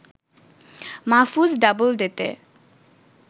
Mahfuz ডাবলডেতে